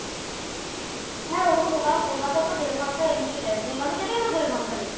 হ্যাঁ ওরকমই কারণ কলকাতায় তো দেড় ঘন্টা এমনেই লেয় কলকাতা যেতেই তো দেড় ঘন্টা লেগে যায়।